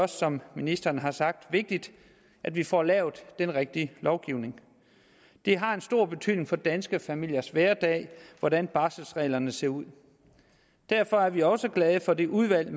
som ministeren også har sagt vigtigt at vi får lavet den rigtige lovgivning det har en stor betydning for danske familiers hverdag hvordan barselsreglerne ser ud derfor er vi også glade for det udvalg